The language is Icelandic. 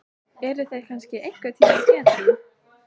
Eru þeir kannski einhvern tímann edrú?